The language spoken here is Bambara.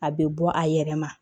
A bɛ bɔ a yɛrɛ ma